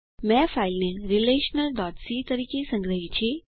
મેં ફાઈલને relationalસી તરીકે સંગ્રહી છે